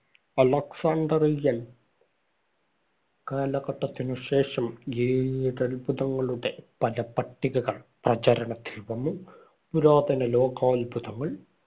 അലക്സാൻഡ്രിയന്‍ കാലഘട്ടത്തിനുശേഷം ഏഴത്ഭുതങ്ങളുടെ പല പട്ടികകൾ പ്രചരണത്തിൽ വന്നു. പുരാതന ലോകാത്ഭുതങ്ങൾ.